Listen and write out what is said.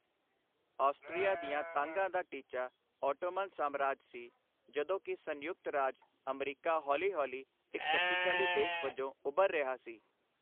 Austria ਦੀਆਂ ਤਾਂਘਾਂ ਦਾ ਟੀਚਾ ਉਟੋਮਨ ਸਾਮਰਾਜ ਸੀ ਜਦੋਂ ਕੀ ਸੰਯੁਕਤ ਰਾਜ ਅਮਰੀਕਾ ਹੌਲੀ ਹੌਲੀ ਇਕ ਸ਼ਕਤੀਸ਼ਾਲੀ ਦੇਸ਼ ਵਜੋਂ ਉਭਰ ਰਿਹਾ ਸੀ।